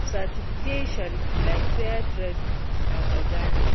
certifications like fair trade and organic.